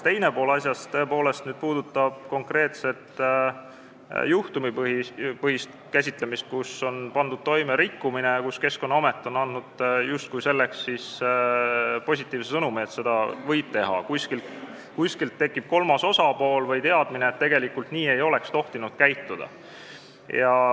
Teine pool asjast tõepoolest puudutab konkreetset juhtumipõhist käsitlemist, kui Keskkonnaamet on andnud justkui positiivse sõnumi, et nii võib teha, aga kuskilt on tekkinud teadmine või on kolmas osapool, kes teab, et tegelikult ei oleks tohtinud nii käituda.